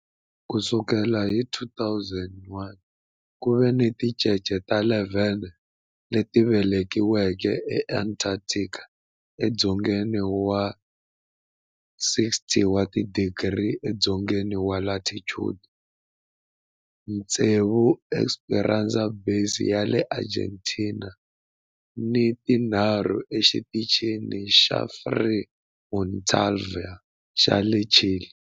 Ku sukela hi 2009, ku ve ni tincece ta 11 leti velekiweke eAntarctica, edzongeni wa 60 wa tidigri edzongeni wa latitude, tsevu eEsperanza Base ya le Argentina ni tinharhu eXitichini xa Frei Montalva xa le Chile.